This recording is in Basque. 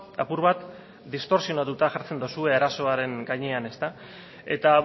apur bat distorsionatuta jartzen duzue arazoaren gainean eta